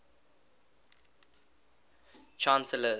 chancellors